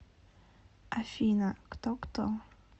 афина кто кто